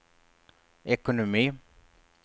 ekonomi